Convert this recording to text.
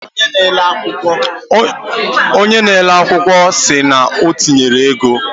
Onye na ele akwụkwọ akụkọ siri na otinyere ego